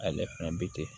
Ale fɛnɛ bi ten